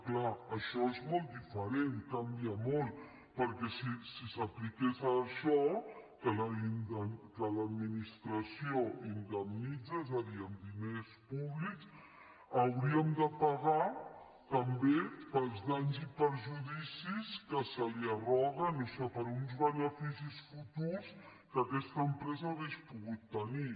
clar això és molt diferent canvia molt perquè si s’apliqués això que l’administració indemnitza és a dir amb diners públics hauríem de pagar també pels danys i perjudicis que se li arroguen o sigui per uns beneficis futurs que aquesta empresa hauria pogut tenir